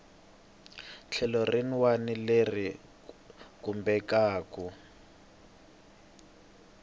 tlhelo rin wana leri khumbekaku